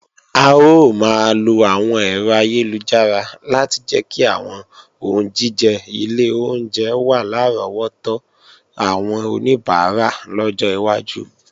A ó máa lo àwọn ẹ̀rọ ayélujára láti jẹ́ kí àwọn oúnjíjẹ ilé oúnjẹ wà lárọ́wọ́tó àwọn oníbàárà lọ́jọ́ iwájú